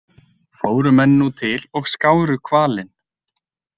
Fóru menn nú til og skáru hvalinn.